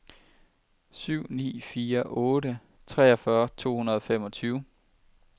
syv ni fire otte treogfyrre to hundrede og femogtyve